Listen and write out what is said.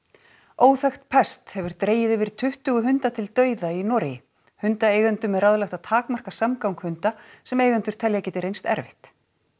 óþekkt pest hefur dregið yfir tuttugu hunda til dauða í Noregi hundaeigendum er ráðlagt að takmarka samgang hunda sem eigendur telja að geti reynst erfitt